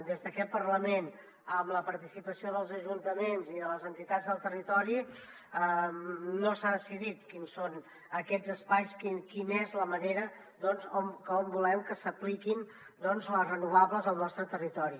des d’aquest parlament amb la participació dels ajuntaments i de les entitats del territori no s’ha decidit quins són aquests espais quina és la manera doncs com volem que s’apliquin les renovables al nostre territori